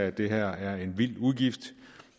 at det her er en vild udgift